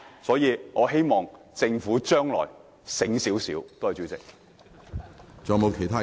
所以，我希望政府將來醒目一點。